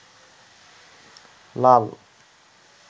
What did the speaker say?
লাল